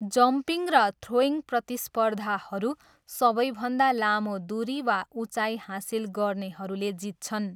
Jumping र throwing प्रतिस्पर्धाहरू सबैभन्दा लामो दुरी वा उचाइ हासिल गर्नेहरूले जित्छन्।